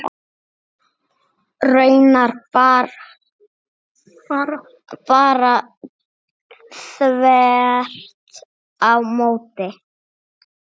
Raunar bara þvert á móti.